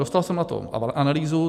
Dostal jsem na to analýzu.